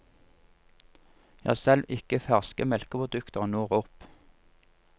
Ja, selv ikke ferske melkeprodukter når opp.